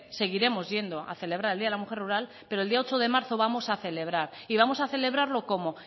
seguiremos yendo a celebrar el día de la mujer rural pero el día ocho de marzo vamos a celebrar y vamos a celebrarlo cómo